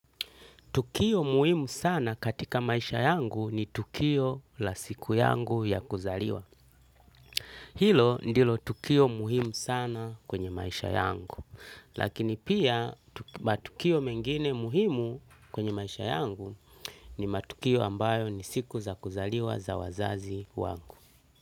Tukio muhimu sana katika maisha yangu ni tukio la siku yangu ya kuzaliwa. Hilo ndilo tukio muhimu sana kwenye maisha yangu. Lakini pia matukio mengine muhimu kwenye maisha yangu ni matukio ambayo ni siku za kuzaliwa za wazazi wangu.